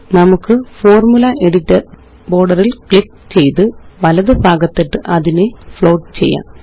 നമുക്ക്Formula editor border ല് click ചെയ്ത് വലതു ഭാഗത്തിട്ട് അതിനെ ഫ്ലോട്ട് ചെയ്യാം